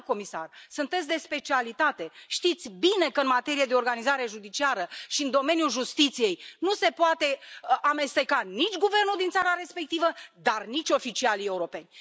Doamna comisar, sunteți de specialitate, știți bine că în materie de organizare judiciară și în domeniul justiției nu se poate amesteca nici guvernul din țara respectivă, dar nici oficialii europeni.